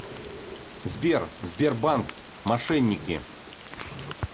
сбер сбербанк мошенники